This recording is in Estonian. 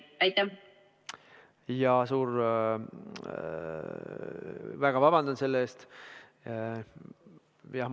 Väga vabandan selle pärast!